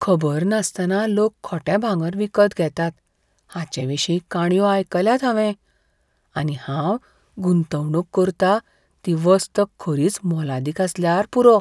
खबर नासतना लोक खोटे भांगर विकत घेतात हाचे विशीं काणयो आयकल्यात हांवें, आनी हांव गुंतवणूक करता ती वस्त खरीच मोलादीक आसल्यार पुरो.